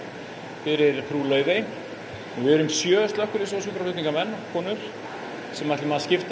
fyrir Frú Laufeyju við erum sjö slökkviliðsmenn og sjúkraflutningamenn sem skiptum